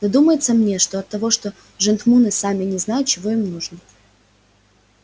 да думается мне что оттого что жентмуны сами не знают чего им нужно